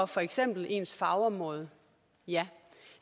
for eksempel ens fagområde ja